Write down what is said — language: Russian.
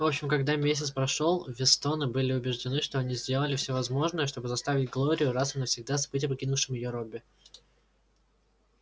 в общем когда месяц прошёл вестоны были убеждены что они сделали всё возможное чтобы заставить глорию раз и навсегда забыть о покинувшем её робби